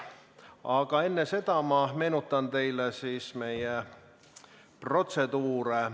Aga enne seda meenutan teile meie protseduure.